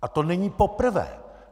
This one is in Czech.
A to není poprvé!